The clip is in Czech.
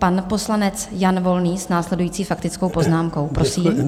Pan poslanec Jan Volný s následující faktickou poznámkou, prosím.